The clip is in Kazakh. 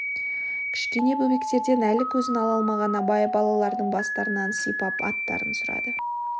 кішкене бөбектерден әлі көзін ала алмаған абай балалардың бастарынан сипап аттарын сұрады